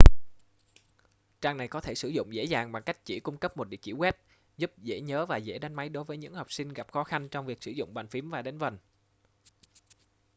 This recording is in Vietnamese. trang này có thể sử dụng dễ dàng bằng cách chỉ cung cấp một địa chỉ web giúp dễ nhớ và dễ đánh máy đối với những học sinh gặp khó khăn trong việc sử dụng bàn phím hoặc đánh vần